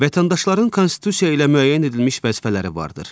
Vətəndaşların Konstitusiya ilə müəyyən edilmiş vəzifələri vardır.